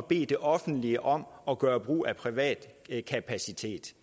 bede det offentlige om at gøre brug af privat kapacitet